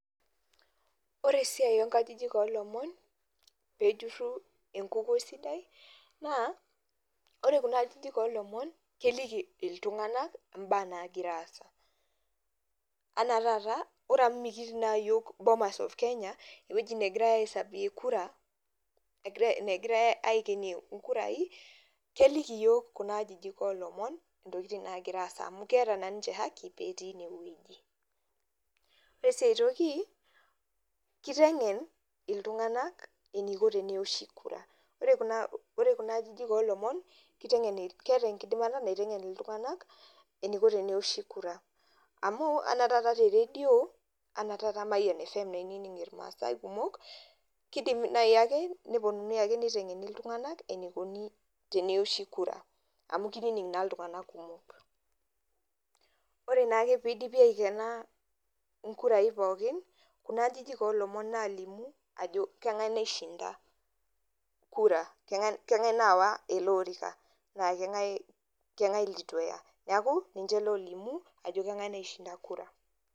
Ore esiai oo nkajijik oo lomon meejurrun enkukuo sidai naa oree kuna ajijik oo lomon keliki iltung'anak imbaa naagira aasa, enaa taata ore amu mikiitii naa iyok Bomas of Kenya, eweji negirae aihisabie kura negirae aikenie inkurai keliki iyook kuna ajijik oo lomon entokitin naagira aasa amu keeta na ninche haki teneweji oree sii aitoki keiteng'en iltung'anak eneiko tenewoshi kura ore ore kuna ajijik oo lomon keeta enkidinata naitengen iltung'anak eneiko tenewoshi kura amuu anaa taata teredio enaa taata mayian fm einining' irmaasai kumok keidim naayii ake neponunui ake nitang'eni iltung'anak eneikuni tenewoshi kura amu keinining' naa iltung'anak kumok, oree naa ake pee eidipi ayikena inkurai pookin kuna ajijik oo lomon naalimu ajo keng'ae naishinta kura keng'ae nayawa ele orika naa keng'ae litu eya neaku ninche loolimu ajo keng'ae naishinda kura.